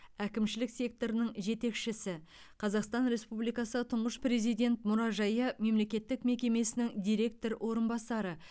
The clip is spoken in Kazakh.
әкімшілік секторының жетекшісі қазақстан республикасы тұңғыш президент мұражайы мемлекеттік мекемесінің директор орынбасары